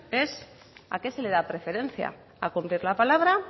es a qué se le da preferencia a cumplir la palabra